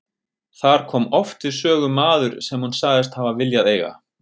Þar kom oft við sögu maður sem hún sagðist hafa viljað eiga.